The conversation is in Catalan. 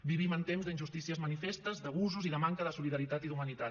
vivim en temps d’injustícies manifestes d’abusos i de manca de solidaritat i d’humanitat